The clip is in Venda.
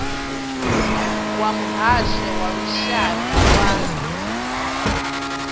wa muhasho wa lushaka wa